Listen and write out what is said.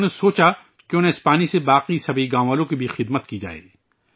انہوں نے سوچا کیوں نہ اس پانی سے باقی سبھی گاوں والوں کی بھی خدمت کی جائے